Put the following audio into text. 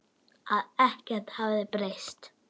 Að ekkert hefði breyst.